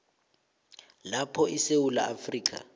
lapho isewula afrika